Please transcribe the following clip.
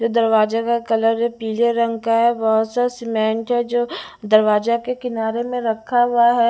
जो दरवाजा का कलर है पीले रंग का है बहुत सा सीमेंट है जो दरवाजा के किनारे में रखा हुआ है।